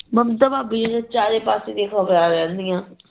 ਮਮਤਾ ਭਾਬੀ ਨੂੰ ਤੇ ਚਾਰੇ ਪਾਸੇ ਦੀਆ ਖਬਰਾਂ ਰਹਿੰਦਈਆ